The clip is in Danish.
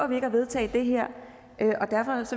vi ikke at vedtage det her